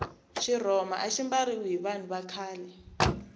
xirhoma axi mbariwa hi vanhu va khale